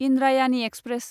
Indrayani express